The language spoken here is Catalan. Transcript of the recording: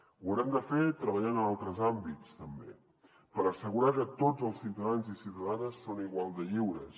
ho haurem de fer treballant en altres àmbits també per assegurar que tots els ciutadans i ciutadanes són igual de lliures